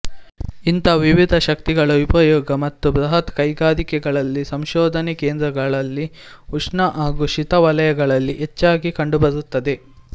ಇಂಥ ವಿವಿಧ ಶಕ್ತಿಗಳ ಉಪಯೋಗ ಈಗ ಬೃಹತ್ ಕೈಗಾರಿಕೆಗಳಲ್ಲಿ ಸಂಶೋಧನಾಕೇಂದ್ರಗಳಲ್ಲಿ ಉಷ್ಣ ಹಾಗೂ ಶೀತ ವಲಯಗಳಲ್ಲಿ ಹೆಚ್ಚಾಗಿ ಕಂಡುಬರುತ್ತದೆ